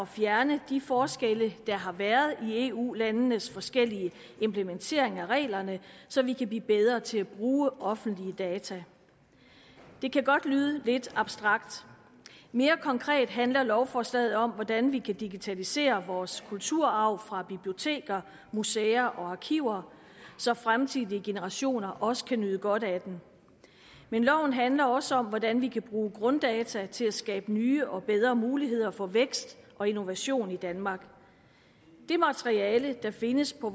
fjerne de forskelle der har været i eu landenes forskellige implementering af reglerne så vi kan blive bedre til at bruge offentlige data det kan godt lyde lidt abstrakt mere konkret handler lovforslaget om hvordan vi kan digitalisere vores kulturarv fra biblioteker museer og arkiver så fremtidige generationer også kan nyde godt af den men loven handler også om hvordan vi kan bruge grunddata til at skabe nye og bedre muligheder for vækst og innovation i danmark det materiale der findes på